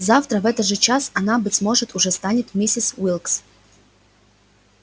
завтра в этот час она быть может уже станет миссис уилкс